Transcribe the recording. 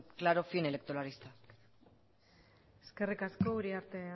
que tener un claro fin electoralista eskerrik asko uriarte